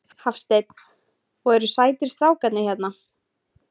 Hafsteinn: Og eru sætir strákarnir hérna?